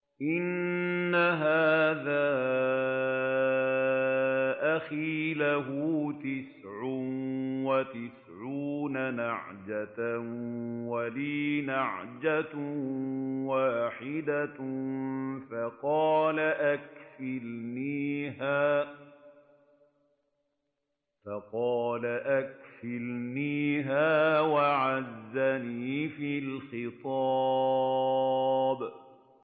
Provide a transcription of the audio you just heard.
إِنَّ هَٰذَا أَخِي لَهُ تِسْعٌ وَتِسْعُونَ نَعْجَةً وَلِيَ نَعْجَةٌ وَاحِدَةٌ فَقَالَ أَكْفِلْنِيهَا وَعَزَّنِي فِي الْخِطَابِ